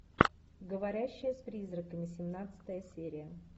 говорящая с призраками семнадцатая серия